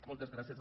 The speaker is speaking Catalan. moltes gràcies